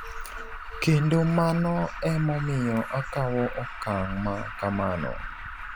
Kendo mano e momiyo akawo okang' ma kamano''.